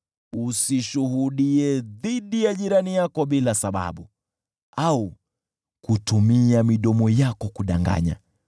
Usishuhudie dhidi ya jirani yako bila sababu, au kutumia midomo yako kudanganya.